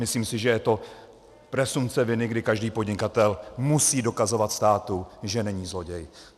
Myslím si, že je to presumpce viny, kdy každý podnikatel musí dokazovat státu, že není zloděj.